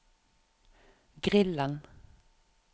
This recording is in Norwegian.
grillen